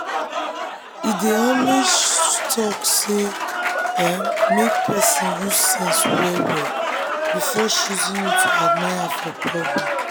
e dey always talk say make um person use sense well well before choosing who to admire for public.